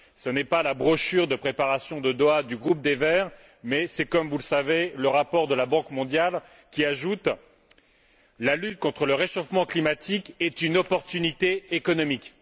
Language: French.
Ce n'est pas la brochure de préparation de Doha du groupe des Verts mais c'est comme vous le savez le rapport de la Banque mondiale, qui ajoute que la lutte contre le réchauffement climatique est une opportunité économique.